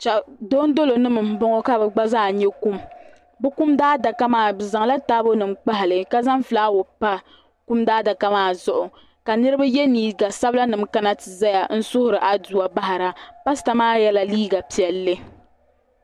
Dondolonima m bɔŋɔ ka bɛ gba zaa nyɛ kum bɛ kum daadaka maa bɛ zaŋla taabonima n kpahi li ka zaŋ fulaawo pa kum daadaka maa zuɣu ka niriba yɛ liiga sabilanima kana ti zaya n suhiri aduwa bahira paasita maa yɛla liiga piɛlli.